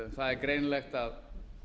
það er greinilegt að